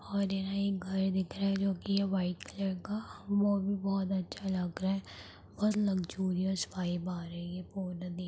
और यहाँ एक घर दिख रहा है जो की यह व्हाइट कलर का और वो भी बहुत अच्छा लग रहा है और लुक्सुरिऑस वाईब आ रही है।